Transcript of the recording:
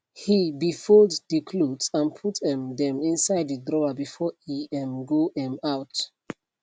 he be fold de clothes and put um dem inside de drawer before e um go um out